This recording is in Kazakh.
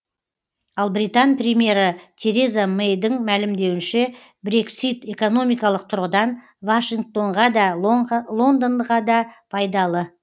ал британ премьері тереза мэйдің мәлімдеуінше брексит экономикалық тұрғыдан вашингтонға да лондонға да пайдалы